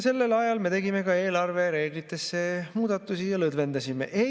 Sellel ajal me tegime ka eelarvereeglitesse muudatusi ja lõdvendasime neid.